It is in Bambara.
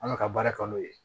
An bɛ ka baara kɛ n'o ye